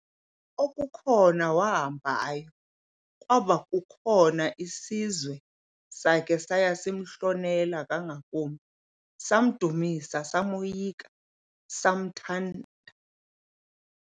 Okukhona wahambayo, kwaba kukhona isizwe sakhe saya simhlonela ngakumbi, samdumisa, samoyika, samthanda.